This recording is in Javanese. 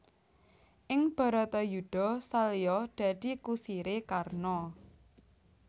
Ing Bharatayudha Salya dadi kusiré Karna